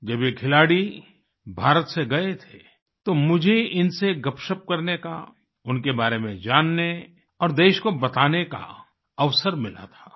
जब ये खिलाड़ी भारत से गए थे तो मुझे इनसे गपशप करने का उनके बारे में जानने और देश को बताने का अवसर मिला था